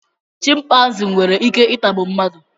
chịmpaizịn nwere Ike itagbu mmadụ